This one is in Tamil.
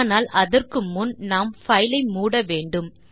ஆனால் அதற்கு முன் நாம் பைல் ஐ மூட வேண்டும்